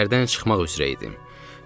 Şəhərdən çıxmaq üzrə idim.